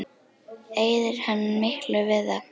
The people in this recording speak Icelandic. Eyðir hann miklu við það?